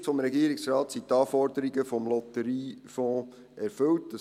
Aus Sicht des Regierungsrates sind die Anforderungen des Lotteriefonds erfüllt.